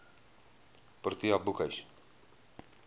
protea boekhuis